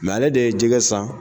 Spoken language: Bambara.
ale de ye jɛgɛ san